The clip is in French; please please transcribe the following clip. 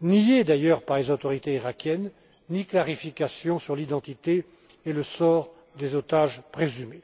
niées d'ailleurs par les autorités iraquiennes, ni clarification sur l'identité et le sort des otages présumés.